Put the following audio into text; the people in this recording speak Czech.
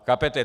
Chápete?